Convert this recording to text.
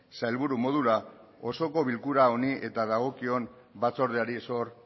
sailburu modura osoko bilkura honi eta dagokion batzordeari zor